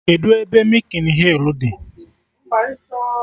Kedụ ebe mịkin hịl dị?